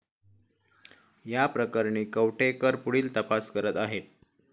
या प्रकरणी कवठेकर पुढील तपास करत आहेत.